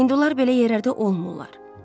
Hindular belə yerlərdə olmurlar.